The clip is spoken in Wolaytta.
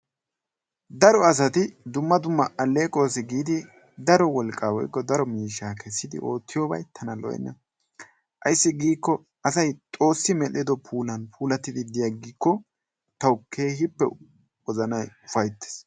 Daro asati dumma dumma allequwaasi giidi daro wolqqa woykko daro miishshaa keessidi oottiyoo bay tana lo"enna. Ayssi giikko asay xoossi meedhido puulan puullattidi de'iyaagikko tawu keehippe wozanay upayttees.